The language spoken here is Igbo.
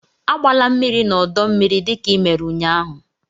agbala mmiri n'ọdọ mmiri, dịka ị mere ụnyaahụ!